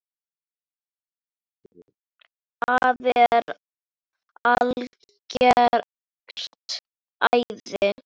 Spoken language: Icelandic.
Afi er algert æði.